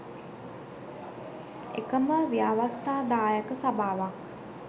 එකම ව්‍යවස්ථාදායක සභාවක්